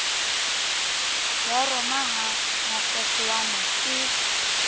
ya roma ha mafefowane ke